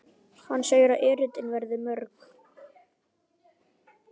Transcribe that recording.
Hann segir að erindin verði mörg.